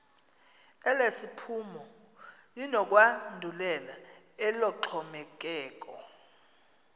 elesiphumo linokwandulela eloxhomekeko